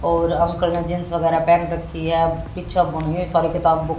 और अंकल ने जींस वगैरा पहन रखी है अब पीछे बुने सारे किताब बुक --